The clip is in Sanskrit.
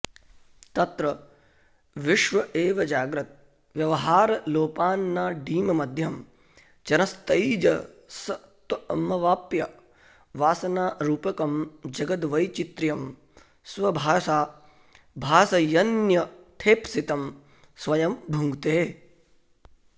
तत्र विश्व एव जाग्रद्व्यवहारलोपान्नाडीमध्यं चरंस्तैजसत्वमवाप्य वासनारूपकं जगद्वैचित्र्यं स्वभासा भासयन्यथेप्सितं स्वयं भुङ्क्ते